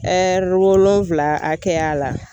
Ɛri wolonwula hakɛya la